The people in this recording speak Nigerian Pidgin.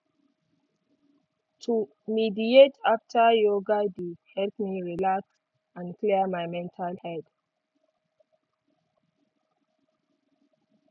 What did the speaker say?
to meditate after yoga de help me relax and clear my mental head